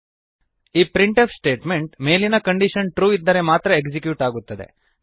ಈ printf statement ಮೇಲಿನ condition true ಇದ್ದರೆ ಮಾತ್ರ ಎಕ್ಸಿಕ್ಯೂಟ್ ಆಗುತ್ತದೆ